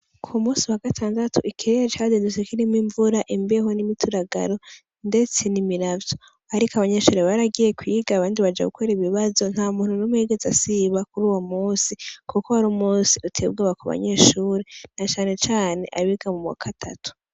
Ku musi wa gatandatu ikirere cazindutse kirimwo imvura , imbeho n'imituragaro ndetse n'imiravyo ariko abanyeshure baragiye kwiga abandi baja gukora ibibazo nta muntu numwe yigeze asiba kuruwo musi kuko wari umusi uteye ubwoba ku banyeshure na cane cane abiga mu wa gatatu.